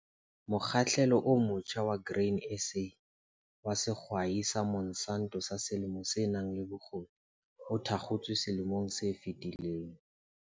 Mokgahlelo o motjha wa Grain SA wa Sehwai sa Monsanto sa Selemo se nang le Bokgoni, o thakgotswe selemong se fetileng.